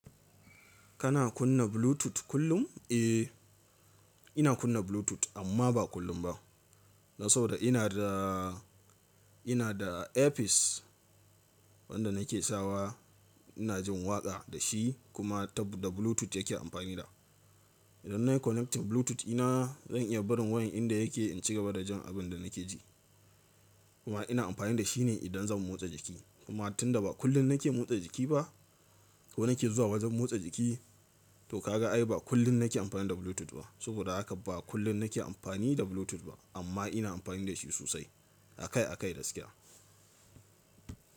Kana kunna Bluetooth kullum? Eh, ina kunna Bluetooth amma ba kullum ba. Dan saboda ina da, ina da earpiece wanda nake sawa. Ina jin waƙa da shi kuma da Bluetooth yake amfani da. Idan na yi connecting Bluetooth ina, zan iya barin wayan inda yake in ci gaba da jin abin da nake ji. Kuma ina amfani da shi ne idan zan motsa jiki. Kuma tunda ba kullum nake motsa jiki ba ko nake zuwa wajen motsa jiki, to ka ga ai ba kullum nake amfani da Bluetooth ba. Saboda haka ba kullum nake amfani da Bluetooth ba amma ina amfani da shi sosai akai akai gaskiya.